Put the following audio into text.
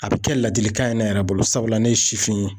A bɛ kɛ ladilikan ye ne yɛrɛ bolo, sabula ne ye sifin ye.